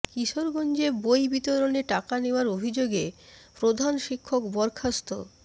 কিশোরগঞ্জে বই বিতরণে টাকা নেয়ার অভিযোগে প্রধান শিক্ষক বরখাস্ত